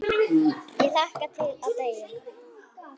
Ég hlakka til að deyja.